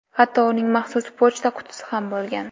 Hatto uning maxsus pochta qutisi ham bo‘lgan.